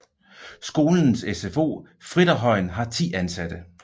Skolens SFO Fritterhøjen har 10 ansatte